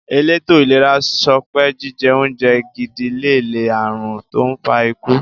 Èlétò ìlera sopé jíje oúnje gidi lè lé ààrùn tó n fa ikú.